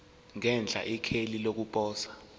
ngenhla ikheli lokuposa